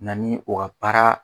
Na ni o ka baara